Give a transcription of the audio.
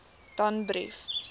danbrief